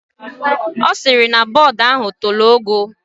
Osiri na board ahụ tolo ogoo.